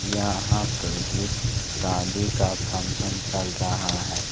यहां पे एक शादी का फंक्शन चल रहा है।